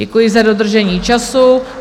Děkuji za dodržení času.